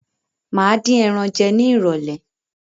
Máa din ẹran jẹ ní irọ̀lẹ́